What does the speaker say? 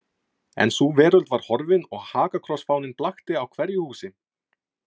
En sú veröld var horfin og hakakrossfáninn blakti á hverju húsi.